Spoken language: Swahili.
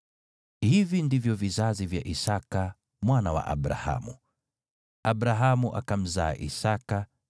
Hivi ndivyo vizazi vya Isaki mwana wa Abrahamu. Abrahamu akamzaa Isaki,